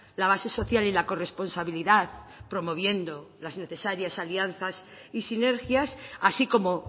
la base social y la corresponsabilidad promoviendo las necesarias alianzas y sinergias así como